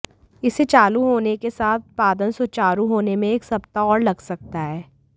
इसे चालू होने के साथ उत्पादन सुचारू होने में एक सप्ताह और लग सकता है